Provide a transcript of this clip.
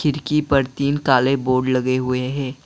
खिड़की पर तीन काले बोर्ड लगे हुए हैं।